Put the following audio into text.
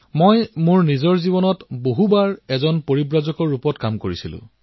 মই নিজৰ জীৱনত বহু সময়লৈ পৰিব্ৰাজকৰ দৰে অতিবাহিত কৰিছো